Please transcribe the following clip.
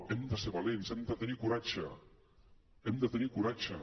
hem de ser valents hem de tenir coratge hem de tenir coratge